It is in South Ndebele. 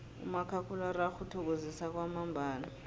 umakhakhulararhwe uthokozisa kwamambala